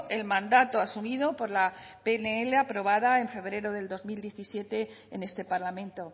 el mandato asumido por la pnl aprobada en febrero del dos mil diecisiete en este parlamento